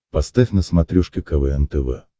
поставь на смотрешке квн тв